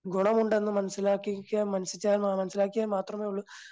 ഗുണമുണ്ടെന്ന് മനസ്സിലാക്കിക്കാൻ മനസ്സിലാക്കിയാൽ മാത്രമേയുള്ളൂ